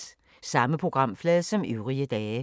Samme programflade som øvrige dage